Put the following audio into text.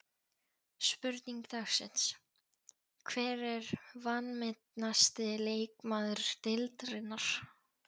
Spurning dagsins: Hver er vanmetnasti leikmaður deildarinnar?